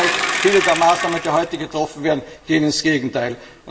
Im Gegenteil, viele der Maßnahmen, die heute getroffen werden, gehen ins Gegenteil.